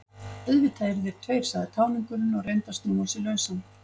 Auðvitað eru þeir tveir, sagði táningurinn og reyndi að snúa sig lausan.